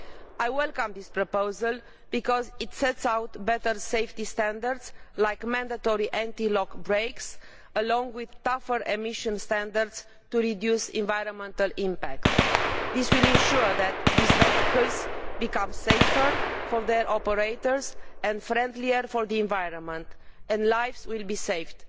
I welcome this proposal because it sets out better safety standards such as multi standard anti lock brakes along with tougher emission standards to reduce the environmental impact. This will ensure that these vehicles become safer for their operators and friendlier for the environment, and lives will be saved.